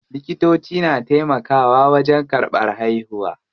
Likitoci na taimakawa wajen karɓan haihuwa.